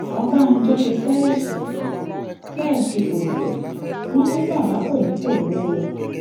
ọbànjọ ṣe tèèṣì tèèṣì koro wọn ní baba kò ní koro o